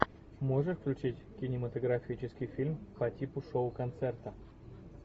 можешь включить кинематографический фильм по типу шоу концерта